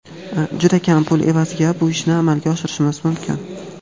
juda kam pul evaziga bu ishni amalga oshirishimiz mumkin.